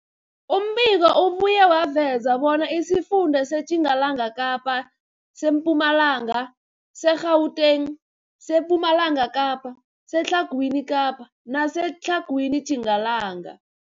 Umbiko ubuye waveza bona isifunda seTjingalanga Kapa, seMpumalanga, seGauteng, sePumalanga Kapa, seTlhagwini Kapa neseTlhagwini Tjingalanga.